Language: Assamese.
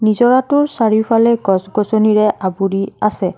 নিজৰাটোৰ চাৰিওফালে গছ-গছনিৰে আৱৰি আছে।